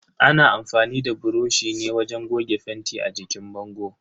Ana amfani da buroshi ne wajen goga fenti a jikin bango.